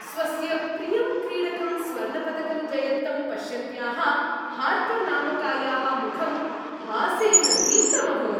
स्वस्य प्रियं क्रीडकं स्वर्णपदकं जयन्तं पश्यन्त्याः हार्पर् नामकायाः मुखं हासेन दीप्तम् अभवत्।